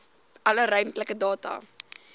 alle ruimtelike data